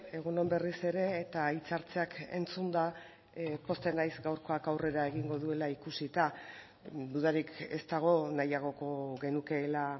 egun on berriz ere eta hitzartzeak entzunda pozten naiz gaurkoak aurrera egingo duela ikusita dudarik ez dago nahiagoko genukeela